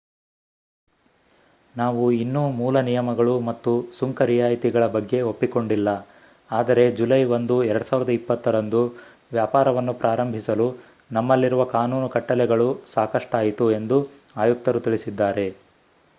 ನಾವು ಇನ್ನೂ ಮೂಲ ನಿಯಮಗಳು ಮತ್ತು ಸುಂಕ ರಿಯಾಯಿತಿಗಳ ಬಗ್ಗೆ ಒಪ್ಪಿಕೊಂಡಿಲ್ಲ ಆದರೆ ಜುಲೈ 1 2020 ರಂದು ವ್ಯಾಪಾರವನ್ನು ಪ್ರಾರಂಭಿಸಲು ನಮ್ಮಲ್ಲಿರುವ ಕಾನೂನು ಕಟ್ಟಲೆಗಳು ಸಾಕಷ್ಟಾಯಿತು ಎಂದು ಆಯುಕ್ತರು ತಿಳಿಸಿದ್ದಾರೆ